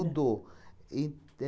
E